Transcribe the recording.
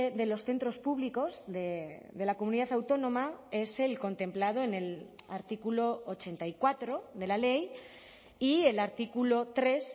de los centros públicos de la comunidad autónoma es el contemplado en el artículo ochenta y cuatro de la ley y el artículo tres